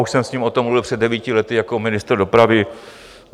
Už jsem s ním o tom mluvil před devíti lety jako ministr dopravy.